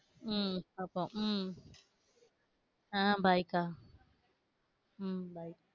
உம் பாப்போம் உம் ஆஹ் bye க்கா உம் bye